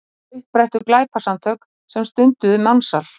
Upprættu glæpasamtök sem stunduðu mansal